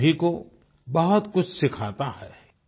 हम सभी को बहुत कुछ सिखाता है